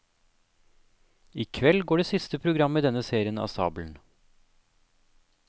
I kveld går det siste programmet i denne serien av stabelen.